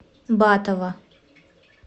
батова